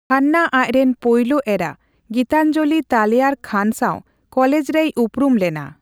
ᱠᱷᱟᱱᱱᱟ ᱟᱡᱨᱮᱱ ᱯᱳᱭᱞᱳ ᱮᱨᱟ ᱜᱤᱛᱟᱧᱡᱚᱞᱤ ᱛᱟᱞᱮᱭᱟᱨ ᱠᱷᱟᱱ ᱥᱟᱣ ᱠᱚᱞᱮᱡᱽ ᱨᱮᱭᱩᱯᱨᱩᱢ ᱞᱮᱱᱟ ᱾